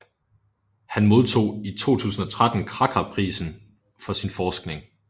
Han modtog i 2013 Kraka Prisen for sin forskning